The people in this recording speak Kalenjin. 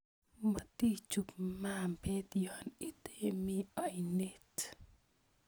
Motichub mabet yon itemi oinet